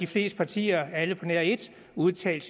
fleste partier alle på nær et udtalte